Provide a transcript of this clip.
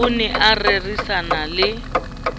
o ne a rerisana le